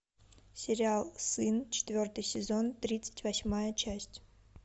сериал сын четвертый сезон тридцать восьмая часть